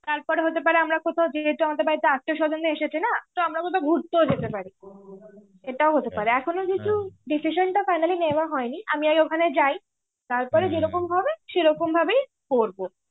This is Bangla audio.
তারপর হতে পারে আমরা কোথাও যেহেতু আমাদের বাড়িতে আত্মীয় স্বজনরা এসেছে না, তো আমরা কোথাও ঘুরতেও যেতে পারি. এটাও হতে পারে. এখনো কিছু decision টা finally নেওয়া হয়নি. আমি আগে ওখানে যাই. তারপরে যেরকম সেরকম ভাবেই করব